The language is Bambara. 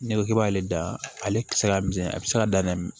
N'i ko k'i b'ale da ale kisɛ ka misɛn a bɛ se ka dan